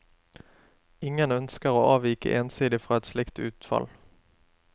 Ingen ønsker å avvike ensidig fra et slikt utfall.